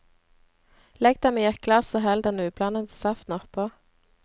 Legg dem i et glass og hell den ublandede saften oppå.